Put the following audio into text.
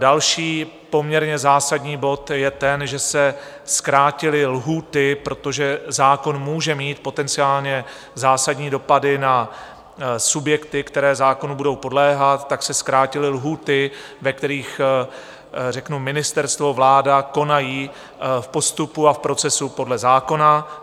Další poměrně zásadní bod je ten, že se zkrátily lhůty, protože zákon může mít potenciálně zásadní dopady na subjekty, které zákonu budou podléhat, tak se zkrátily lhůty, ve kterých řeknu ministerstvo, vláda konají v postupu a v procesu podle zákona.